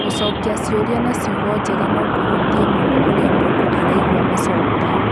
Gũcokia ciũria na ciugo njega no kũhutie mũno ũrĩa mũndũ araigua macokio: